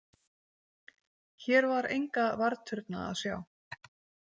Hér var enga varðturna að sjá.